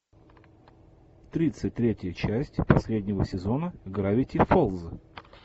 тридцать третья часть последнего сезона гравити фолз